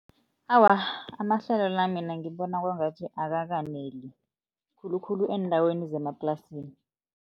Awa, amahlelo la mina ngibona kwangathi akakaneli khulukhulu eendaweni zemaplasini.